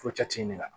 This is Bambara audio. Fo la